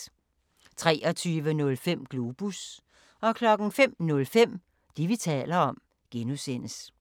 23:05: Globus 05:05: Det, vi taler om (G)